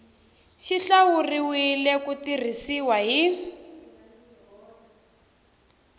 xi hlawuriwile ku tirhisiwa hi